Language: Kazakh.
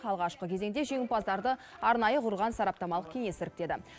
алғашқы кезеңде жеңімпаздарды арнайы құрылған сараптамалық кеңес іріктеді